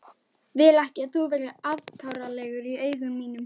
Vil ekki að þú verðir afkáralegur í augum mínum.